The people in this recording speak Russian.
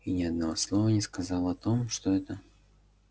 и ни одного слова не сказал о том что это